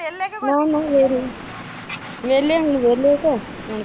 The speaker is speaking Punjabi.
ਵਿਹਲੇ ਹੁਣ ਵਿਹਲੇ ਕੇ।